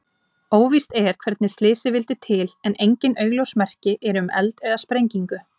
Óvíst er hvernig slysið vildi til en engin augljós merki eru um eld eða sprengingu.